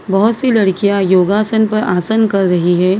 बहुत सी लड़कियां योगासन पर आसन कर रही है।